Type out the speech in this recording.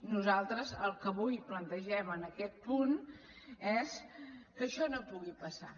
nosaltres el que avui plantegem en aquest punt és que això no pugui passar